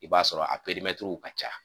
I b'a sɔrɔ a ka ca.